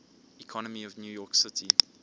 economy of new york city